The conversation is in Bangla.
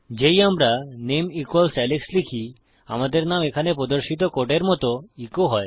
যেই আমরা নামে ইকুয়ালস আলেক্স লিখি আমাদের নাম এখানে প্রদর্শিত কোডের মত ইকো হয়